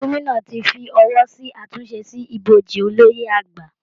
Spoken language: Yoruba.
Gómìnà ti fọwọ́ sí àtúnṣe sí ibojì Olóyè àgbà